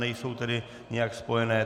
Nejsou tedy nijak spojené.